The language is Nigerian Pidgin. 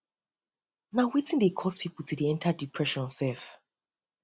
na wetin dey cause people to dey enter depression sef sef